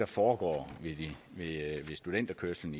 foregår ved studenterkørslen